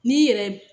N'i yɛrɛ